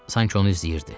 Sanki onu izləyirdi.